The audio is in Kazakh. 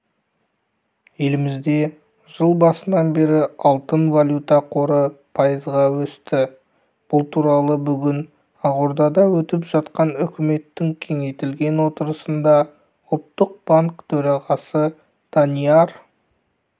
елімізде жыл басынан бері алтын-валюта қоры пайызға өсті бұл туралы бүгін ақордада өтіп жатқан үкіметтің кеңейтілген отырысында ұлттық банк төрағасы данияр